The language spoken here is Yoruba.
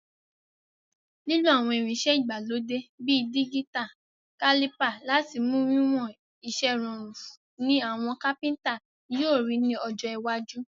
Lílo àwon irinsẹ́ ìgbàlódé bi digital caliper láti mu wiwon isẹ́ rorùn ni àwon carpenter yio ri ni ọjọ́ iwájú.